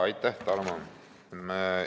Aitäh, Tarmo!